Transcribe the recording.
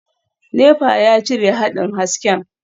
Nepa ya cire haɗin hasken.